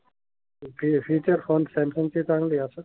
Phone Samsung चे चांगले राहतात?